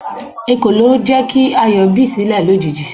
Ekolo jẹ́ kí Ayọ̀ bi silẹ lójijì.